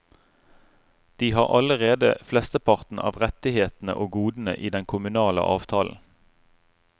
De har allerede flesteparten av rettighetene og godene i den kommunale avtalen.